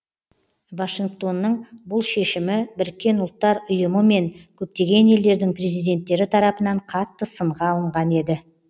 вашингтонның бұл шешімібіріккен ұлттар ұйымы мен көптеген елдердің президенттері тарапынан қатты сынға алынған еді